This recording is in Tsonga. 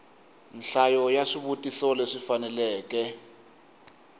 nhlayo ya swivutiso leswi faneleke